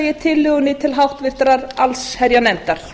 ég tillögunni til háttvirtrar allsherjarnefndar